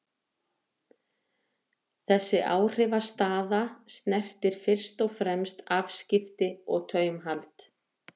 Þessi áhrifastaða snertir fyrst og fremst afskipti og taumhald.